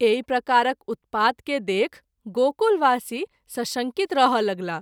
एहि प्रकारक उत्पात के देखि गोकुलवासी सशंकित रहय लगलाह।